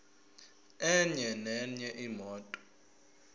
enye nenye imoto